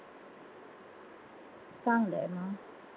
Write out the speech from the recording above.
चांगलय म.